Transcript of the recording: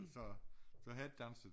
Så så har ikke danset